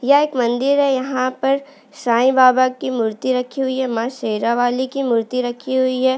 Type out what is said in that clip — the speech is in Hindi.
यह एक मंदिर है यहाँ पर साई बाबा की मूर्ति रखी हुई है माँ शेरावाली की मूर्ति रखी हुई है।